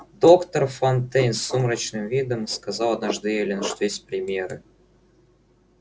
доктор фонтейн с сумрачным видом сказал однажды эллин что есть примеры